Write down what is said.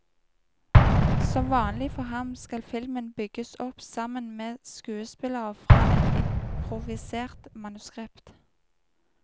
Som vanlig for ham skal filmen bygges opp sammen med skuespillere fra et improvisert manuskript.